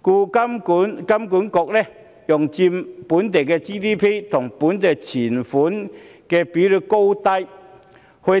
故此，金管局用佔本地 GDP 和本地存款的比率高低來